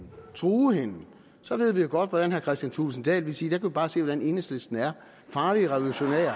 og true hende så ved vi jo godt at herre kristian thulesen dahl ville sige der kan i bare se hvordan enhedslisten er farlige revolutionære